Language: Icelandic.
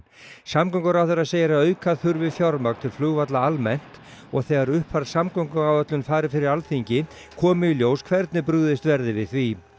samgönguráðherra segir að auka þurfi fjármagn til flugvalla almennt og þegar uppfærð samgönguáætlun fari fyrir Alþingi komi í ljós hvernig brugðist verði við því